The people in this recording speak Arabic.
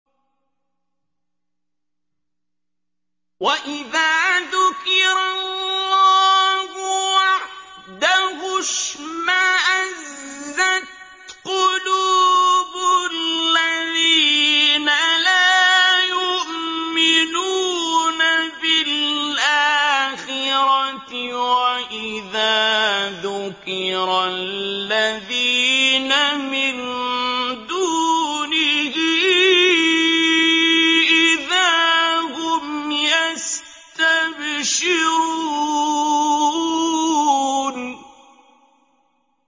وَإِذَا ذُكِرَ اللَّهُ وَحْدَهُ اشْمَأَزَّتْ قُلُوبُ الَّذِينَ لَا يُؤْمِنُونَ بِالْآخِرَةِ ۖ وَإِذَا ذُكِرَ الَّذِينَ مِن دُونِهِ إِذَا هُمْ يَسْتَبْشِرُونَ